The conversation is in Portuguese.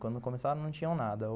Quando começaram não tinham nada.